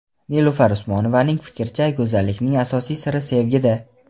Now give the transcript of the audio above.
Nilufar Usmonovaning fikricha, go‘zallikning asosiy siri sevgida.